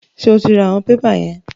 Ṣé o ra àwọn pépà yẹn?